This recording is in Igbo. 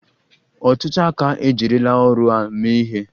Ọtụtụ aka ejirila ọrụ a mee ihe.